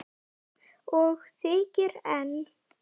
Og þykir enn.